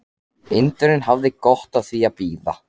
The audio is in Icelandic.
Indverjinn hafði gott af því að bíða.